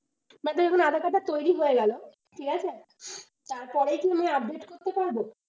মনে দেখুন aadhaar card টা তৈরি হয়ে গেল ঠিক আছে, তারপরেই কি আমি update করতে পারব।